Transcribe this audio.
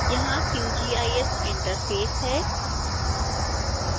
यहां qgis interface है